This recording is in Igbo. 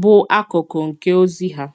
bụ̀ àkàkụ̀ nke ozi ha.